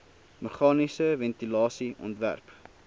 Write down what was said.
meganiese ventilasie ontwerp